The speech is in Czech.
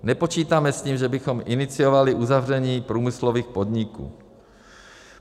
Nepočítáme s tím, že bychom iniciovali uzavření průmyslových podniků.